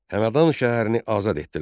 Həmədan şəhərini azad etdilər.